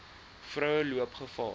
vroue loop gevaar